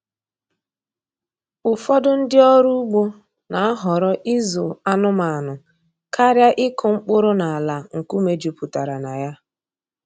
Ụfọdụ ndị ọrụ ugbo na-ahọrọ ịzụ anụmanụ karịa ịkụ mkpụrụ n’ala nkume jupụtara na ya.